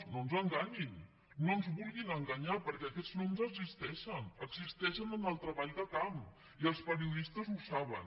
no ens enganyin no ens vulguin enganyar perquè aquests noms existeixen existeixen en el treball de camp i els periodistes ho saben